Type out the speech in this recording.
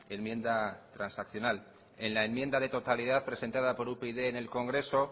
enmienda transaccional en la enmienda de totalidad presentada por upyd en el congreso